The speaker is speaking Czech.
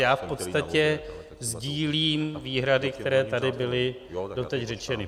Já v podstatě sdílím výhrady, které tady byly doteď řečeny.